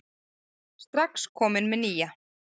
Strax kominn með nýja